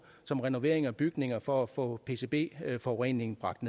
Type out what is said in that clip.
som renovering af bygninger for at få pcb forureningen bragt